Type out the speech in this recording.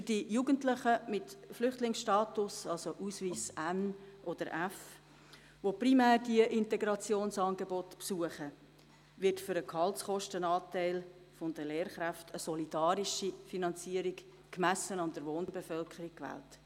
Für die Jugendlichen mit Flüchtlingsstatus, also mit Ausweis N oder F, die diese Integrationsangebote primär besuchen, wird für den Gehaltskostenanteil der Lehrkräfte eine solidarische Finanzierung gemessen an der Wohnbevölkerung gewählt.